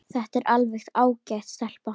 Þetta er alveg ágæt stelpa.